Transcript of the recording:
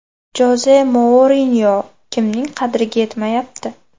Joze Mourinyo kimning qadriga yetmayapti?